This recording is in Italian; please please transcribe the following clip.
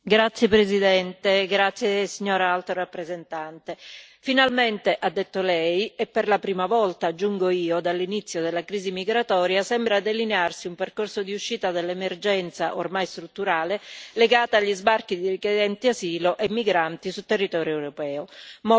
Signora Presidente, onorevoli colleghi, signora Alto rappresentante, finalmente, ha detto Lei, e per la prima volta, aggiungo io, dall'inizio della crisi migratoria sembra delinearsi un percorso di uscita dall'emergenza, ormai strutturale, legata agli sbarchi di richiedenti asilo e migranti sul territorio europeo.